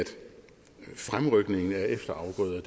fremrykningen af efterafgrøder